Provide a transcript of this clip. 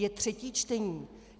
Je třetí čtení.